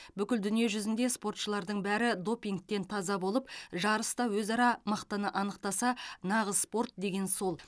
бүкіл дүние жүзінде спортшылардың бәрі допингтен таза болып жарыста өзара мықтыны анықтаса нағыз спорт деген сол